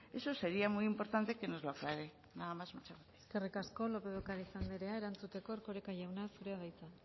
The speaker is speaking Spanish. eso sería muy importante que nos lo aclare nada más muchas gracias eskerrik asko lópez de ocariz andrea erantzuteko erkoreka jauna zurea da hitza